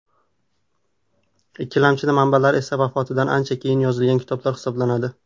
Ikkilamchi manbalar esa vafotidan ancha keyin yozilgan kitoblar hisoblanadi.